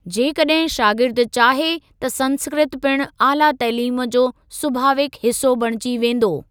जेकॾहिं शागिर्दु चाहे त संस्कृत पिणु आला तइलीम जो सुभावीक हिसो बणिजी वेंदी।